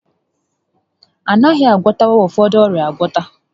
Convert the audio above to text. A naghị agwọtanwu ụfọdụ ọrịa agwọta